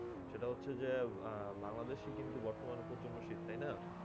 সেটা হচ্ছে যে আহ বাংলাদেশে কিন্তু বর্তমানে প্রচণ্ড শীত তাই না?